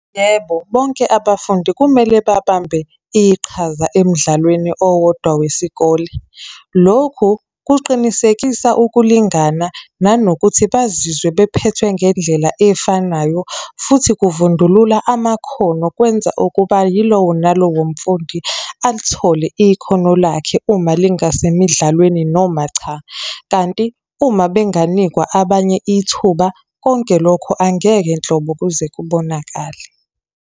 Yebo, bonke abafundi kumele babambe iqhaza emidlalweni owodwa wesikole. Lokhu kuqinisekisa ukulingana, nanokuthi bazizwe bephethwe ngendlela efanayo, futhi kuvundulula amakhono, kwenza ukuba yilowo nalowo mfundi alithole ikhono lakhe uma lingasemidlalweni noma cha. Kanti uma benganikwa abanye ithuba, konke lokho angeke nhlobo kuze kubonakale.